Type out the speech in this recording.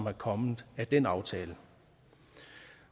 er kommet af den aftale